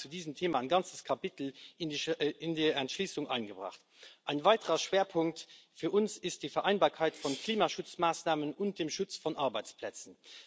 Wir haben zu diesem Thema ein ganzes Kapitel in die Entschließung eingebracht. Ein weiterer Schwerpunkt für uns ist die Vereinbarkeit von Klimaschutzmaßnahmen und dem Schutz von Arbeitsplätzen.